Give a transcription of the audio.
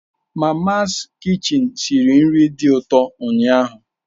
Mamas kichin siri nri dị ụtọ ụnyaahụ